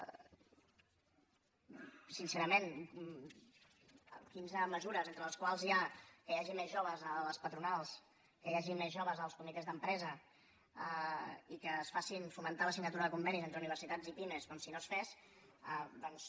sincerament quinze mesures entre les quals hi ha que hi hagi més joves a les patronals que hi hagi més joves als comitès d’empresa i que es faci fomentar la signatura de convenis entre universitats i pimes com si no es fes doncs